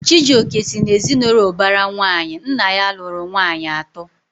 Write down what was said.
Chijioke si na ezinaụlọ ubara nwanyi, nna ya lụrụ nwanyị ato